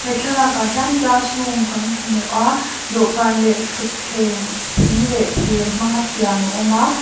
thlalâkah hian classroom kan hmu a dawhkân leh ṭhuthleng thing leh thîr hmanga siam a awm a.